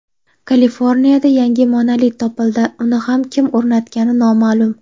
Kaliforniyada yangi monolit topildi uni ham kim o‘rnatgani noma’lum.